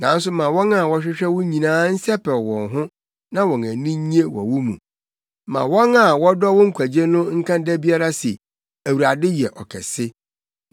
Nanso ma wɔn a wɔhwehwɛ wo nyinaa nsɛpɛw wɔn ho na wɔn ani nnye wɔ wo mu; ma wɔn a wɔdɔ wo nkwagye no nka da biara se, “ Awurade yɛ ɔkɛse!”